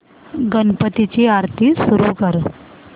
गणपती ची आरती सुरू कर